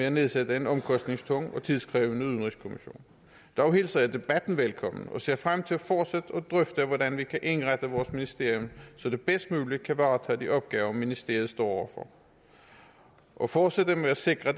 at nedsætte en omkostningstung og tidskrævende udenrigskommission dog hilser jeg debatten velkommen og ser frem til fortsat at drøfte hvordan vi kan indrette vores ministerium så det bedst muligt kan varetage de opgaver ministeriet står over for og fortsætte med at sikre